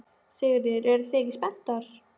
Sigríður: Eruð þið ekki spenntar?